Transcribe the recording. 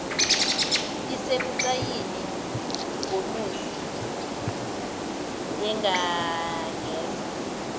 isebucayini ngonozi angangenza